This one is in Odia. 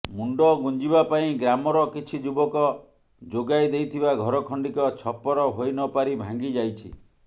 ମୁଣ୍ଡ ଗୁଞ୍ଜିବା ପାଇଁ ଗ୍ରାମର କିଛି ଯୁବକ ଯୋଗାଇ ଦେଇଥିବା ଘର ଖଣ୍ଡିକ ଛପର ହୋଇନପାରି ଭାଙ୍ଗି ଯାଇଛି